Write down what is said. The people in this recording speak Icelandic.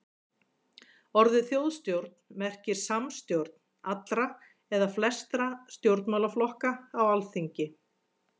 orðið þjóðstjórn merkir samstjórn allra eða flestra stjórnmálaflokka á alþingi